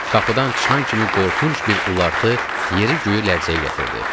Qapıdan çıxan kimi qorxunc bir ulartı yeri göyü lərzəyə gətirdi.